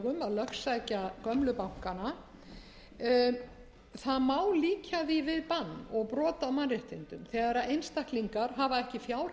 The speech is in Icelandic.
lögsækja gömlu bankana það má líkja því við bann og brot á mannréttindum þegar einstaklingar hafa ekki